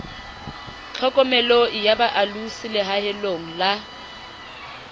tlhokomeloi ya boalosi lehaeng la